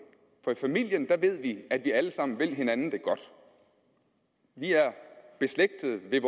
for i familien ved vi at vi alle sammen vil hinanden det godt vi er beslægtede ved